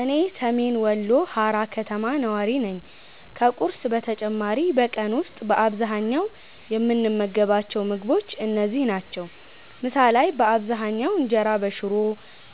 እኔ ሰሜን ወሎ ሃራ ከተማ ነዋሪ ነኝ። ከቁርስ በተጨማሪ በቀን ውስጥ በአብዛኛው የምንመገባቸው ምግቦች እነዚህ ናቸው፦ ምሳ ላይ በአብዛኛው እንጀራ በሽሮ፣